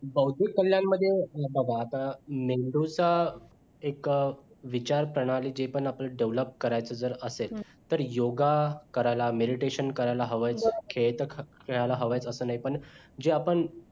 बौद्धिक कल्याण मध्ये हे बघा आता मेंदूचा एक विचार प्रणाली जे पण आपली develop करायचा जर असेल योगा करायला meditation करायला हवा आहे खेळ खेळायला हवय असं नाही पण जे आपण